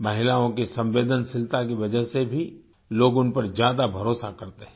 महिलाओं की संवेदनशीलता की वजह से भी लोग उन पर ज्यादा भरोसा करते हैं